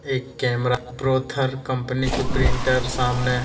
एक camera Brother company की printer सामने है।